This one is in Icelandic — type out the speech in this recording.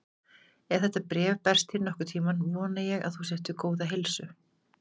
Ef þetta bréf berst þér nokkurn tímann, vona ég að þú sért við góða heilsu.